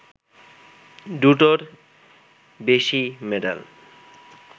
দুটোর বেশি মেডাল